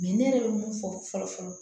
ne yɛrɛ bɛ mun fɔ fɔlɔ fɔlɔ